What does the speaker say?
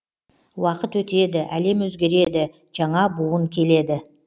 уақыт өтеді әлем өзгереді жаңа буын келеді